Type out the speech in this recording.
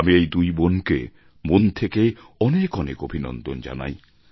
আমি এই দুই বোনকে মন থেকে অনেক অনেক অভিনন্দন জানাই